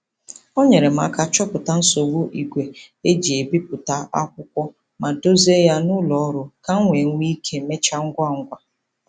O nyeere m aka chọpụta nsogbu igwe e ji ebipụta akwụkwọ ma dozie ya n'ụlọ ọrụ ka m wee nwee ike mechaa ngwa ngwa.